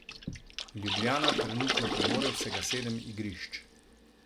Ljubljana trenutno premore vsega sedem igrišč.